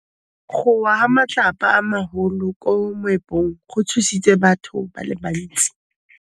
Go wa ga matlapa a magolo ko moepong go tshositse batho ba le bantsi.